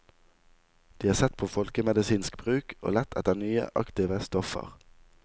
De har sett på folkemedisinsk bruk og lett etter nye aktive stoffer.